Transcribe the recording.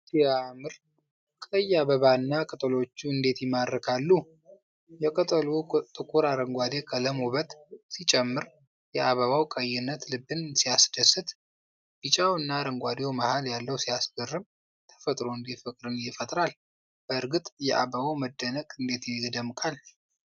ሲያምር! ቀይ አበባና ቅጠሎቹ እንዴት ይማርካሉ! የቅጠሉ ጥቁር አረንጓዴ ቀለም ውበት ሲጨምር! የአበባው ቀይነት ልብን ሲያስደስት! ቢጫውና አረንጓዴው መሀል ያለው ሲያስገርም! ተፈጥሮ እንዴት ፍቅርን ይፈጥራል! በእርግጥ የአበባው መደነቅ እንዴት ይደምቃል!